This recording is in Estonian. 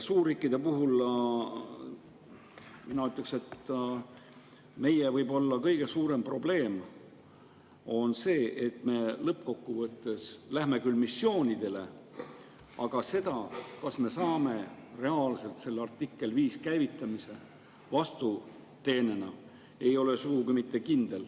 Suurriikide kohta mina ütleks, et võib-olla on meie kõige suurem probleem see, et me läheme küll missioonidele, aga see, kas me vastuteenena saame reaalselt selle artikkel 5 käivitamise, ei ole lõppkokkuvõttes sugugi mitte kindel.